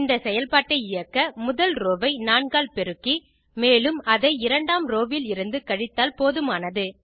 இந்த செயல்பாட்டை இயக்க முதல் ரோவ் ஐ 4 ஆல் பெருக்கி மேலும் அதை இரண்டாம் ரோவ் விலிருந்து கழித்தால் போதுமானது